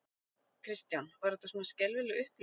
Kristján: Var þetta svona skelfileg upplifun?